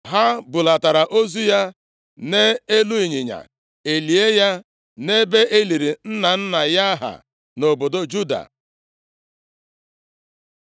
Ha bulatara ozu ya nʼelu ịnyịnya, e lie ya nʼebe e liri nna nna ya ha nʼobodo Juda.